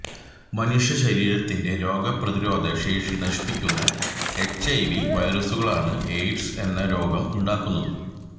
മനുഷ്യ ശരീരത്തിന്റെ രോഗ പ്രതിരോധ ശേഷി നശിപ്പിക്കുന്ന എച്ച്ഐവി വൈറസുകളാണ് എയ്ഡ്സ് എന്ന രോഗം ഉണ്ടാക്കുന്നത്